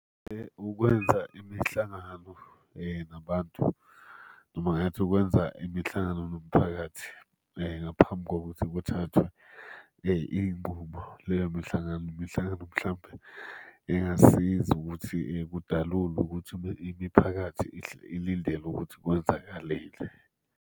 Ukwenza imihlangano nabantu, noma ngathi ukwenza imihlangano nomphakathi ngaphambi kokuthi kuthathwe iy'nqumo. Leyo mihlangano, imihlangano mhlampe engasiza ukuthi kudalulwe ukuthi imiphakathi ilindele ukuthi kwenzakaleni.